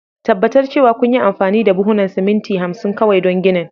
tabbatar cewa kunyi amfani da buhunan siminti 50 kawai don ginin.